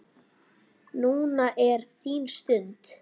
Núna er þín stund.